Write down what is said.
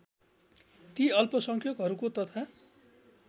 ती अल्पसंख्यकहरूको तथा